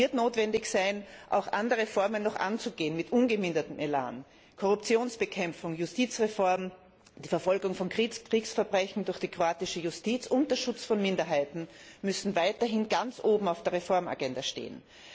Es wird notwendig sein, auch noch andere Reformen mit ungemindertem Elan anzugehen Korruptionsbekämpfung, Justizreform, die Verfolgung von Kriegsverbrechen durch die kroatische Justiz und der Schutz von Minderheiten müssen weiterhin ganz oben auf der Reformagenda stehen.